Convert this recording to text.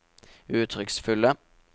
uttrykksfulle